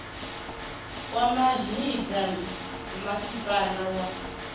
wa mavhi ḓa masipala wa